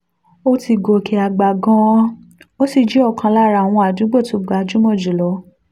ó ti gòkè àgbà gan-an ó sì jẹ́ ọ̀kan lára àwọn àdúgbò tó gbajúmọ̀ jù lọ